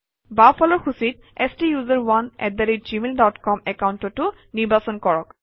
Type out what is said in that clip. বাওঁফালৰ সূচীত STUSERONEgmail dot com একাউণ্টটো নিৰ্বাচন কৰক